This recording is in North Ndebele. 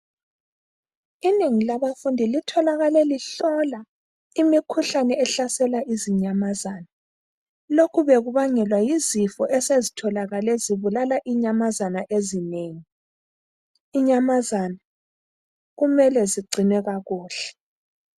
Inengi labafundi litholakale lihlola imikhuhlane ehlasela izinyamazana. Lokhu bekubangelwa yizifo esezitholakale zibulala inyamazana ezinengi. Inyamazana, kumele zigcinwe kakuhle.